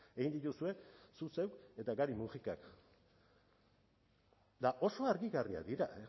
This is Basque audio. egin dituzue zuk zeuk eta gari mujikak eta oso argigarriak dira